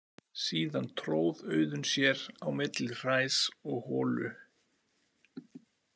Síðan tróð Auðunn sér á milli hræs og holu.